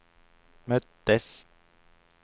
möttes